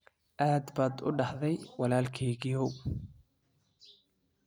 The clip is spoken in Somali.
Aad baad u daahday wiilkaygiiyow.